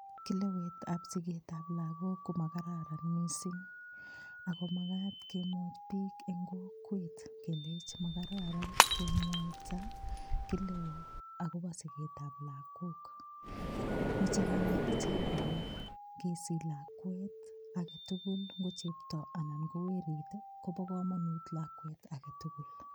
Kelewet ab siket ab lakok ko makararan missing ako makat kemwoji bik en kokwet kelenji makararan kemwaita kelewo akobo siket ab lokok, moche kinet ichek kole kesich lakwek aketukul ko chepto anan ko werik kobo komonut lakwet aketukul.